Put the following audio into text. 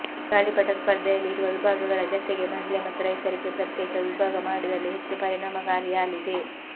ಗಾಳಿಪಟ ಸ್ಪರ್ಧೆಯಲ್ಲಿ ಇರುವ ವಿಭಾಗಗಳ ಜತೆಗೆ ಮಹಿಳೆ ಮತ್ತು ರೈತರಿಗೆ ಪ್ರತ್ಯೇಕ ವಿಭಾಗ ಮಾಡಿದಲ್ಲಿ ಹೆಚ್ಚು ಪರಿಣಾಮಕಾರಿಯಾಲಿದೆ